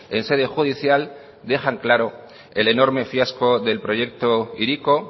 en sede judicial dejan claro el enorme fiasco del proyecto hiriko